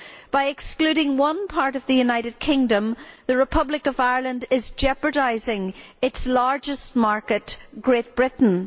By excluding one part of the United Kingdom, the Republic of Ireland is jeopardising its largest market Great Britain.